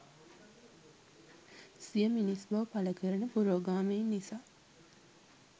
සිය මිනිස් බව පළකරන පුරෝගාමීන් නිසා